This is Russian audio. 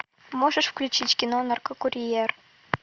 можешь включить кино наркокурьер